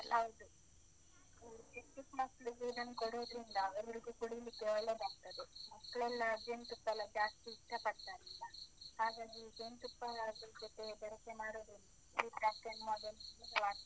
ಹೌದು. ಜೇನುತುಪ್ಪ ಹಾಕಿ ಇದನ್ ಕೊಡೋದ್ರಿಂದ, ಎಲ್ಲರಿಗೂ ಕುಡೀಲಿಕ್ಕೆ ಒಳ್ಳೆದಾಗ್ತದೆ. ಮಕ್ಳೆಲ್ಲಾ ಜೇನ್ತುಪ್ಪಾ ಎಲ್ಲ ಜಾಸ್ತಿ ಇಷ್ಟ ಪಡ್ತಾರಲ್ಲ? ಹಾಗಾಗಿ ಜೇನುತುಪ್ಪಾನಾ ಅದ್ರ ಜೊತೆ ಬೆರಕೆ ಮಾಡೋದ್ರಿಂದ .